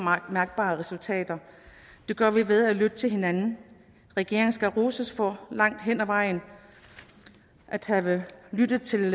mærkbare resultater det gør vi ved at lytte til hinanden regeringen skal roses for langt hen ad vejen at have lyttet til